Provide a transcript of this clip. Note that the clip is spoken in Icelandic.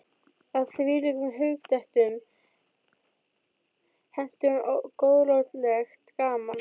Að þvílíkum hugdettum henti hún góðlátlegt gaman.